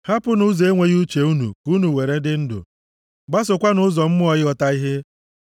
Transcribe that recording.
Hapụnụ ụzọ enweghị uche unu, ka unu were dị ndụ; gbasokwanụ ụzọ mmụọ ịghọta ihe.”